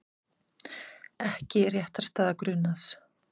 Ekki réttarstaða grunaðs